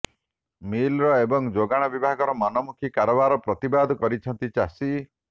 miller ଏବଂ ଯୋଗାଣ ବିଭାଗର ମନମୁଖୀ କାରବାରର ପ୍ରତିବାଦ କରିଛନ୍ତି ଚାଷୀ